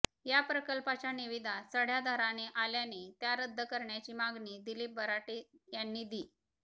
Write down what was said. या प्रकल्पाच्या निविदा चढ्या दराने आल्याने त्या रद्द करण्याची मागणी दिलीप बराटे यांनी दि